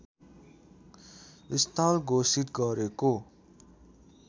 स्थल घोषित गरेको